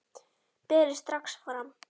Berið strax fram.